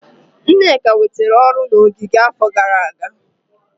Nneka nwetara ọrụ na ogige n'afọ gara aga.